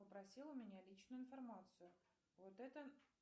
попросил у меня личную информацию вот это